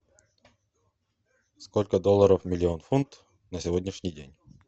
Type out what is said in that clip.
сколько долларов миллион фунт на сегодняшний день